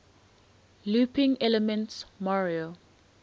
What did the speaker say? looping elements mario